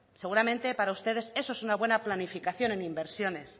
seguramente para ustedes eso es una buena planificación en inversiones